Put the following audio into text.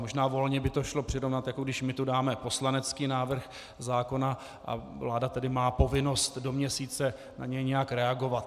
Možná volně by to šlo přirovnat, jako když my tu dáme poslanecký návrh zákona a vláda tedy má povinnost do měsíce na něj nějak reagovat.